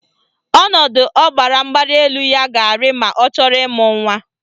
Ọnọdụ ọbaramgbalịelu ya ga-arị ma ọ chọrọ ịmụ nwa